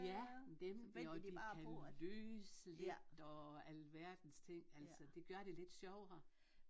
Ja dem og de kan lyse lidt og alverdens ting altså det gør det lidt sjovere